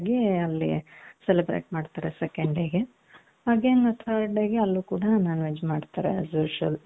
ಈ ರೀತಿಯಾಗಿ ಅಲ್ಲಿ celebrate ಮಾಡ್ತಾರೆ second dayಗೆ again third dayಗೆ ಅಲ್ಲೂ ಕೂಡ non veg ಮಾಡ್ತಾರೆ ಅದು asusual